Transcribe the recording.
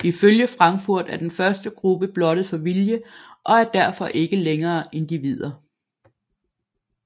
Ifølge Frankfurt er den første gruppe blottet for vilje og er derfor ikke længere individer